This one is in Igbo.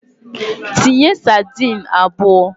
Tinye sadin abụọ!